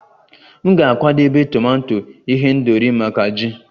M ga-akwadebe tomato ihendori maka ji